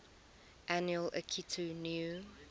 annual akitu new